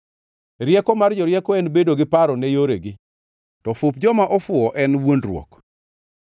Rieko mar jorieko en bedo gi paro ne yoregi, to fup joma ofuwo en wuondruok.